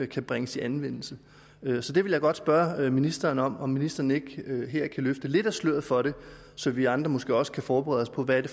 kan bringes i anvendelse det vil jeg godt spørge ministeren om og om ministeren ikke her kan løfte lidt af sløret for det så vi andre måske også kan forberede os på hvad det